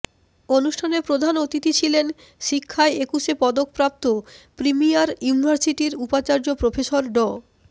অনুষ্ঠানে প্রধান অতিথি ছিলেন শিক্ষায় একুশে পদকপ্রাপ্ত প্রিমিয়ার ইউনিভার্সিটির উপাচার্য প্রফেসর ড